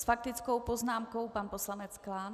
S faktickou poznámkou pan poslanec Klán.